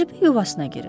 Kirpi yuvasına girir.